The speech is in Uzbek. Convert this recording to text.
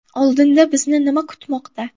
Oldinda bizni nim a kutmoqda?